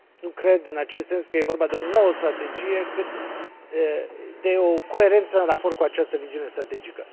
Nu cred, în acest sens, că e vorba de o nouă strategie, cât de o coerență în raport cu această viziune strategică.